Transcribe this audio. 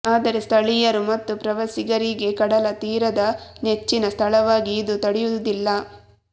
ಆದರೆ ಸ್ಥಳೀಯರು ಮತ್ತು ಪ್ರವಾಸಿಗರಿಗೆ ಕಡಲತೀರದ ನೆಚ್ಚಿನ ಸ್ಥಳವಾಗಿ ಇದು ತಡೆಯುವುದಿಲ್ಲ